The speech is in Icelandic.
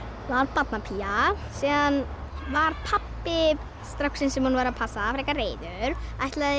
barnapía síðan var pabbi stráksins sem hún var að passa frekar reiður ætlaði